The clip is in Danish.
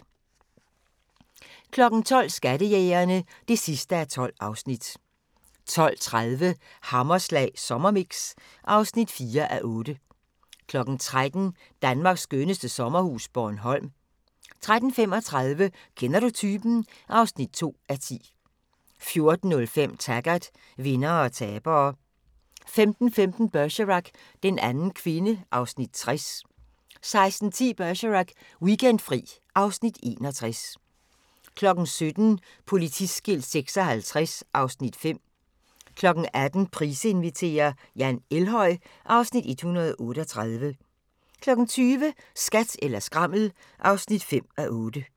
12:00: Skattejægerne (12:12) 12:30: Hammerslag Sommermix (4:8) 13:00: Danmarks skønneste sommerhus – Bornholm 13:35: Kender du typen? (2:10) 14:05: Taggart: Vindere og tabere 15:15: Bergerac: Den anden kvinde (Afs. 60) 16:10: Bergerac: Weekendfri (Afs. 61) 17:00: Politiskilt 56 (Afs. 5) 18:00: Price inviterer - Jan Elhøj (Afs. 138) 20:00: Skat eller skrammel (5:8)